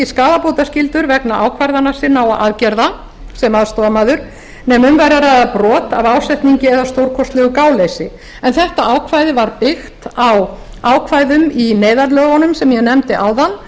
skaðabótaskyldur vegna ákvarðana sinna og aðgerða sem aðstoðarmaður nema um væri að ræða brot af ásetningi eða stórkostlegu gáleysi en þetta ákvæði var byggt á ákvæðum í neyðarlögunum sem ég nefndi áðan